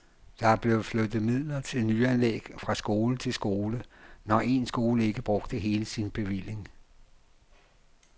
Der er blevet flyttet midler til nyanlæg fra skole til skole, når en skole ikke brugte hele sin bevilling.